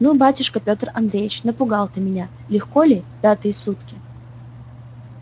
ну батюшка петр андреич напугал ты меня легко ли пятые сутки